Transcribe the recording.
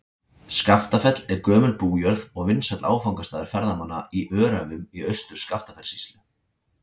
Skaftafell er gömul bújörð og vinsæll áfangastaður ferðamanna í Öræfum í Austur-Skaftafellssýslu.